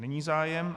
Není zájem.